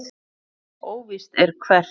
Óvíst er hvert.